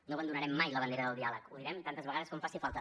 no abandonarem mai la bandera del diàleg ho direm tantes vegades com faci falta